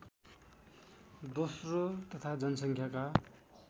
दोस्रो तथा जनसङ्ख्याका